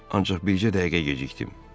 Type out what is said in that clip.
Ancaq bircə dəqiqə gecikdim.